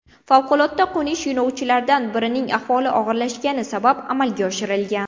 Favqulodda qo‘nish yo‘lovchilardan birining ahvoli og‘irlashgani sabab amalga oshirilgan.